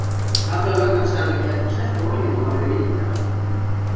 Gamla löggan sagði að við gætum selt olíuna og orðið ríkar.